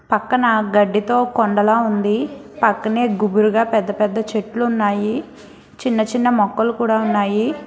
పక్కన గడ్డితో కొండలా ఉంది పక్కనే గుబురుగా పెద్ద పెద్ద చెట్లు ఉన్నాయి చిన్న చిన్న మొక్కలు కూడా ఉన్నాయి.